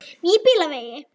Nýbýlavegi